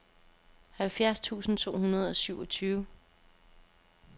halvfjerds tusind to hundrede og syvogtyve